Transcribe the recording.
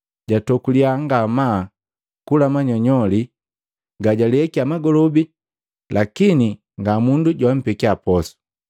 Jatokuliya ngamaa kula manyonyoli gajuleikya magolobi lakini nga mundu joampekiya posu.